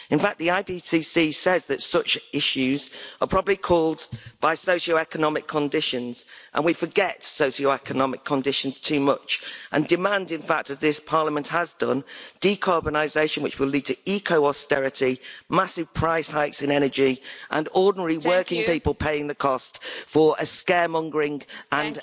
In fact, the IPCC says that such issues are probably caused by socio economic conditions, and we forget socio economic conditions too much and demand, in fact, as this Parliament has done, decarbonisation, which will lead to eco austerity, massive price hikes in energy, and ordinary working people paying the cost for scaremongering and...